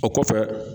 O kɔfɛ